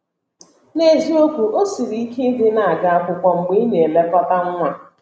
N’eziokwu, o siri ike ịdị na - aga akwụkwọ mgbe ị na - elekọta nwa.